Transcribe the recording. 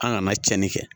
An kana tiɲɛni kɛ